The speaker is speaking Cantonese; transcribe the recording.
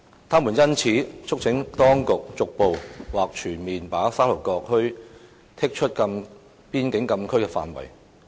他們因此促請當局逐步或全面把沙頭角墟剔出邊境禁區範圍。